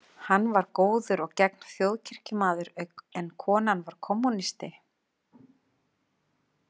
Hann var góður og gegn þjóðkirkjumaður en konan var kommúnisti.